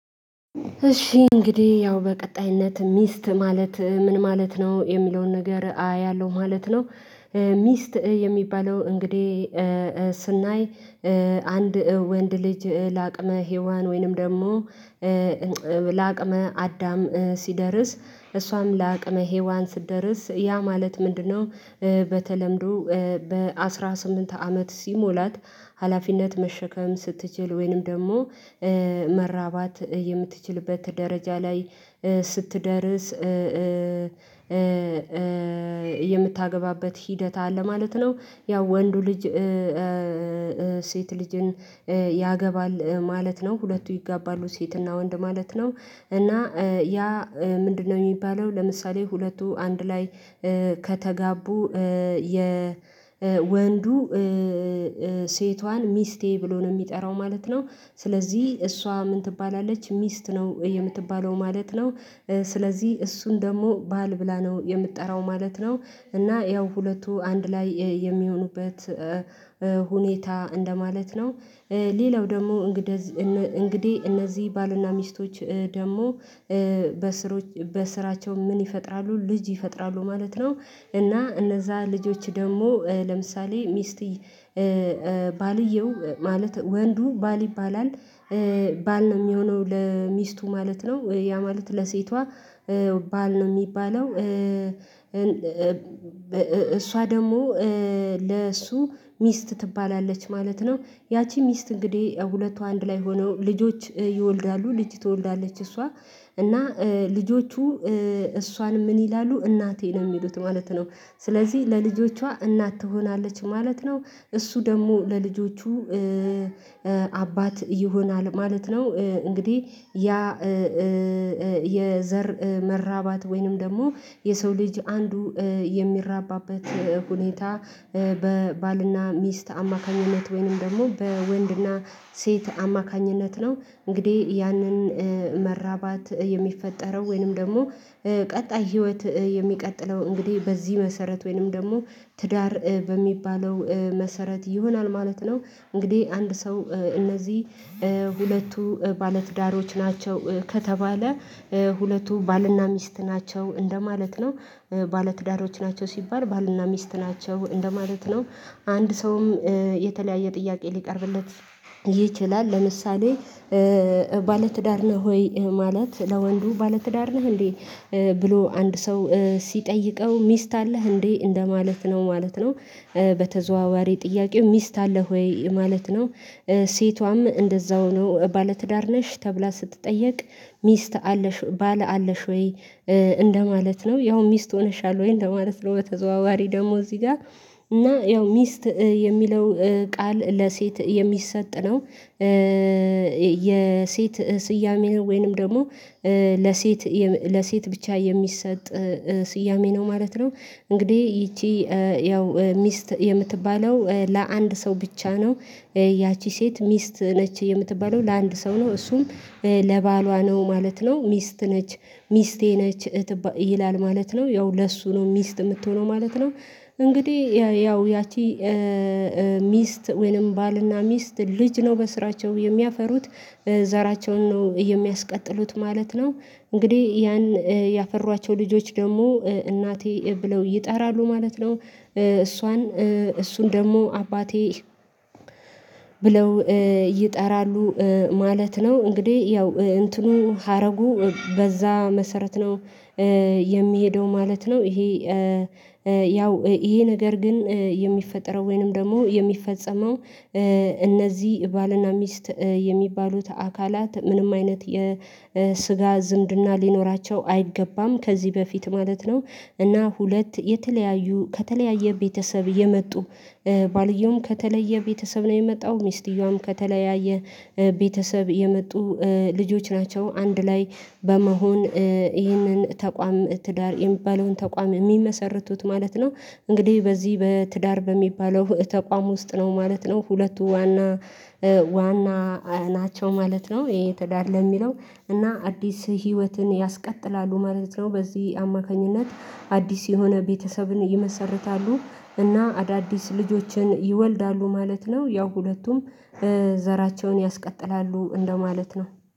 እሺ እንግዲህ ያው በቀጣይነት ሚስት ማለት ምን ማለት ነው የሚለውን ነገር አ ያለው ማለት ነው። ሚስት የሚባለው እንግዲህ ስናይ አንድ ወንድ ልጅ ለአቅመ ሄዋን ወይንም ደግሞ ለአቅመ አዳም ሲደርስ እሷም ለአቅመ ሄዋን ስትደርስ ያ ማለት ምንድነው? በተለምዶ በአሥራ ስምንት አመት ሲሞላት ሀላፊነት መሸከም ስትችል ወይንም ደግሞ መራባት የምትችልበት ደረጃ ላይ ስትደርስ። የምታገባበት ሂደት አለ ማለት ነው። ያው ወንዱ ልጅ። ሴት ልጅን ያገባል ማለት ነው ሁለቱ ይገባሉ ሴትና ወንድ ማለት ነው። እና ያ ምንድነው? የሚባለው ለምሳሌ ሁለቱ አንድ ላይ ከተጋቡ የወንዱ ሴቷን ሚስቴ ብሎ ነው የሚጠራው ማለት ነው። ስለዚህ እሷ ምን ትባላለች ሚስት ነው የምትባለው ማለት ነው። ስለዚህ እሱን ደግሞ ባል ብላ ነው የምትጠራው ማለት ነው። እና ያው ሁለቱ አንድ ላይ የሚሆኑበት ሁኔታ እንደማለት ነው። ሌላው ደግሞ እንግዲህ እነዚህ ባልና ሚስቶች ደግሞ በስራቸው ምን ይፈጥራሉ ልጅ ይፈጥራሉ ማለት ነው። እና እነዛ ልጆች ደግሞ ለምሳሌ ሚስት ባልየው ማለት ወንዱ ባል ይባላል። ባል ነው የሚሆነው ለሚስቱ ማለት ነው ያ ማለት ለሴቷ ባል ነው የሚባለው። እሷ ደግሞ ለእሱ ሚስት ትባላለች ማለት ነው። ያቺ ሚስት እንግዲህ ሁለቱ አንድ ላይ ሆነው ልጆች ይወልዳሉ ልጅ ትወልዳለች እሷ። እና ልጆቹ እሷን ምን ይላሉ እናቴ ነው የሚሉት ማለት ነው። ስለዚህ ለልጆቿ እናት ትሆናለች ማለት ነው። እሱ ደግሞ ለልጆቹ አባት ይሆናል ማለት ነው። እንግዲህ ያ የዘር መራባት ወይንም ደግሞ የሰው ልጅ አንዱ የሚራባበት ሁኔታ በባልና ሚስት አማካኝነት ወይንም ደግሞ በወንድና ሴት አማካኝነት ነው። እንግዲህ ያንን መራባት የሚፈጠረው ወይንም ደግሞ ቀጣይ ህይወት የሚቀጥለው እንግዲህ በዚህ መሰረት ወይንም ደግሞ ትዳር በሚባለው መሰረት ይሆናል ማለት ነው። እንግዲህ አንድ ሰው እነዚህ ሁለቱ ባለትዳሮች ናቸው ከተባለ ሁለቱ ባልና ሚስት ናቸው እንደማለት ነው። ባልና ትዳሮች ናቸው ሲባል ባልና ሚስት ናቸው እንደማለት ነው። አንድ ሰውም የተለያየ ጥያቄ ሊቀርብለት ይችላል። ለምሳሌ ባለትዳር ነህ ሆይ ማለት ለወንዱ ባለትዳር ነህ እንዴ? ብሎ አንድ ሰው ሲጠይቀው ሚስት አለህ እንዴ እንደማለት ነው ማለት ነው። በተዘዋዋሪ ጥያቄው ሚስት አለህ ወይ ማለት ነው። ሴቷም እንደዛው ነው ባለትዳር ነሽ ተብላ ስትጠየቅ ሚስት አለሽ ባለ አለሽ ወይ? እንደማለት ነው ያው ሚስት ሆነሻል ወይ እንደማለት ነው በተዘዋዋሪ ደግሞ እዚህ ጋር እና ያው ሚስት የሚለው ቃል ለሴት የሚሰጥ ነው። የ የሴት ስያሜ ነው ወይንም ደግሞ ለሴት ለሴት ብቻ የሚሰጥ ስያሜ ነው ማለት ነው። እንግዲህ ይቺ ያው ሚስት የምትባለው ለአንድ ሰው ብቻ ነው። ያቺ ሴት ሚስት ነች የምትባለው ለአንድ ሰው ነው እሱም ለባሏ ነው ማለት ነው ሚስት ነች። ሚስቴ ነች እህት ይላል ማለት ነው ያው ለእሱ ነው ሚስት የምትሆነው ማለት ነው። እንግዲህ ያው ያቺ ሚስት ወይንም ባልና ሚስት ልጅ ነው በስራቸው የሚያፈሩት ዘራቸውን ነው የሚያስቀጥሉት ማለት ነው። እንግዲህ ያን ያፈሯቸው ልጆች ደግሞ እናቴ ብለው ይጠራሉ ማለት ነው። እሷን እሱን ደግሞ አባቴ ብለው ይጠራሉ ማለት ነው። እንግዲህ ያው እንትኑን ሀረጉ በዛ መሰረት ነው። የሚሄደው ማለት ነው። ይሄ ያው ይሄ ነገር ግን የሚፈጠረው ወይንም ደግሞ የሚፈጸመው እነዚህ ባልና ሚስት የሚባሉት አካላት ምንም አይነት የስጋ ዝምድና ሊኖራቸው አይገባም ከዚህ በፊት ማለት ነው። እና ሁለት የተለያዩ ከተለያየ ቤተሰብ የመጡ ባልየውም ከተለየ ቤተሰብ ነው የመጣው ሚስጥየዋም ከተለያየ ቤተሰብ የመጡ ልጆች ናቸው አንድ ላይ በመሆን ይህንን ተቋም ትዳር የሚባለውን ተቋም የሚመሰርቱት ማለት ነው። እንግዲህ በዚህ በትዳር በሚባለው ተቋም ውስጥ ነው ማለት ነው ሁለቱ ዋና ዋና ናቸው ማለት ነው። ይሄ ትዳር ለሚለው እና አዲስ ህይወትን ያስቀጥላሉ ማለት ነው። በዚህ አማካኝነት አዲስ የሆነ ቤተሰብን ይመሰርታሉ። እና አዳዲስ ልጆችን ይወልዳሉ ማለት ነው። ያው ሁለቱም ዘራቸውን ያስቀጥላሉ እንደማለት ነው